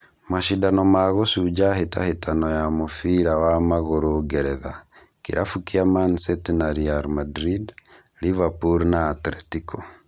Macindano ma gũcunja hĩtahĩtano ya mũbira wa magũrũ ngeretha: Kĩrabu kĩa Man City na Real Madrid, Liverpool na Atletico